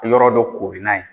Yɔrɔ dɔ koori n'a ye.